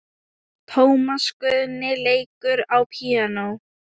Tómas Guðni leikur á píanó.